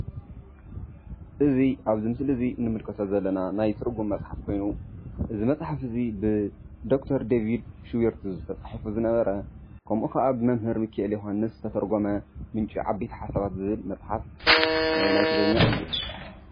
እዙይ ኣብ እዙይ ምስሊ እንምልከቶ ዘለና ናይ ትርጉም መፅሓፍ ኮይኑ። እዙይ መፅሓፍ እዙይ ብዶ/ር ደቨድ ሽበርቶ ዝተፅሓፈ ዝነበረ ከምኡ ከዓ ብሚካኤለ ዮሃንስ ዝተተርጎመ ምንጪ ዓበይቲ ሓሳባት መፅሓፍ ናይ ትግርኛ እዩ።